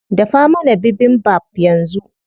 Dafa mana bibimbap yanzu.